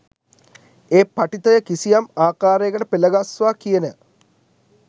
ඒ පඨිතය කිසියම් ආකාරයකට පෙළගස්වා කියන